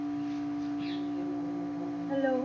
Hello